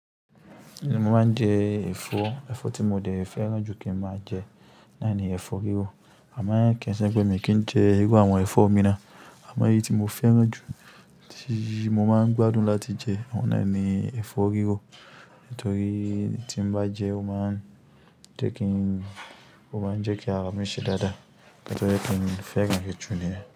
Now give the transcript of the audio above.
Mo máa ń jẹ ẹ̀fọ́. Ẹ̀fọ́ tí mo dè fẹ́ràn jù kí n máa jẹ náà ni ẹ̀fọ́ rírọ. A mọ̀ ọ́n kí ń ṣe pé mi kí n jẹ irú àwọn ẹ̀fọ́ mìíràn, àmọ́ èyí tí mo fẹ́ràn jù tí mo máa ń gbádùn láti jẹ, ọ̀nà ẹni ẹ̀fọ́ rírọ nítorí tí n bá jẹ ó máa ń jẹ́ kí, ó máa ń jẹ́ kí ara mi ṣe dáadáa nítorí ẹ́ kí n fẹ́ràn rẹ̀ jù ni.